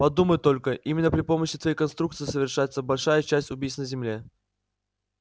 подумать только именно при помощи твоей конструкции совершается большая часть убийств на земле